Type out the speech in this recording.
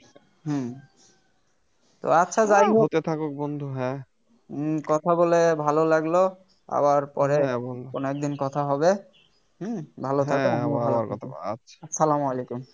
হুম তো আচ্ছা যাই হোক উম কথা বলে ভালো লাগলো আবার পরে কোন একদিন কথা হবে হুম ভালো থাকো সালাম আলাইকুম